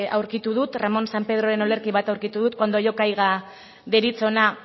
aurkitu dut ramón sampedroren olerki bat aurkitu dut cuando yo caiga deritzona